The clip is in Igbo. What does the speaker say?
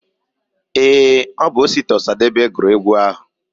Ee, Obu Osita Osadebe guru egwu ahu.